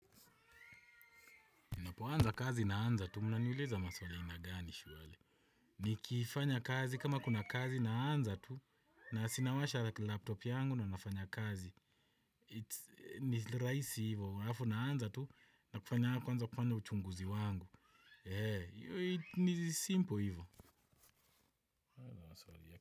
Ninapoanza kazi naanza tu, mnaniuliza maswali aina gani surely? Nikifanya kazi, kama kuna kazi naanza tu, na sinawasha laptop yangu na nafanya kazi. It's ni rahisi hivo, alafu naanza tu, na kufanya kwanza kufanya uchunguzi wangu. Eee, ni simple hivo.